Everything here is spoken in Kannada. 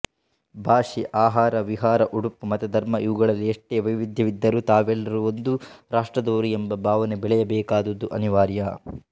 ಭಾಷೆ ಆಹಾರ ವಿಹಾರ ಉಡುಪು ಮತಧರ್ಮ ಇವುಗಳಲ್ಲಿ ಎಷ್ಟೇ ವೈವಿಧ್ಯವಿದ್ದರೂ ತಾವೆಲ್ಲರೂ ಒಂದು ರಾಷ್ಟ್ರದವರು ಎಂಬ ಭಾವನೆ ಬೆಳೆಯಬೇಕಾದುದು ಅನಿವಾರ್ಯ